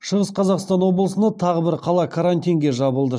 шығыс қазақстан облысында тағы бір қала карантинге жабылды